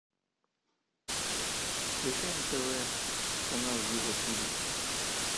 включай на тв канал его тиви